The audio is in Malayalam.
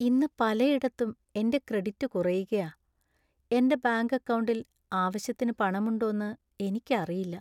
ഇന്ന് പലയിടത്തും എന്‍റെ ക്രെഡിറ്റ് കുറയുകയാ. എന്‍റെ ബാങ്ക് അക്കൗണ്ടിൽ ആവശ്യത്തിന് പണമുണ്ടോന്ന് എനിക്കറിയില്ല.